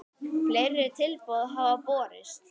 Fleiri tilboð hafa borist.